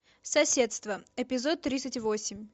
соседство эпизод тридцать восемь